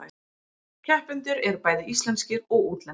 Keppendur eru bæði íslenskir og útlendir